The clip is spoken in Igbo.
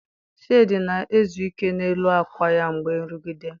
Shade na-ezu ike n'elu akwa ya mgbe nrụgide.